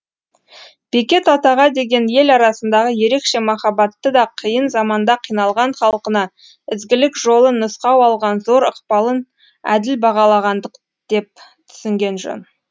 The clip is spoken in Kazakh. бекет атаға деген ел арасындағы ерекше махабатты да қиын заманда қиналған халқына ізгілік жолын нұсқау алған зор ықпалын әділ бағалағандық деп түсінген жөн